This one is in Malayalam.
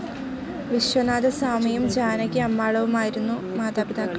വിശ്വനാഥസ്വാമിയും ജാനകി അമ്മാളുമായിരുന്നു മാതാപിതാക്കൾ.